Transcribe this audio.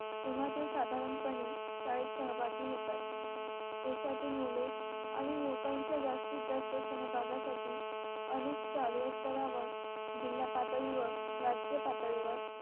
किंवा ते साधारणपणे शाळेत सहभागी होतात. देशातील मुले आणि युवकांच्या जास्तीत जास्त सहभागासाठी अनेक शालेय स्तरावर, जिल्हा पातळी व राज्य पातळीवर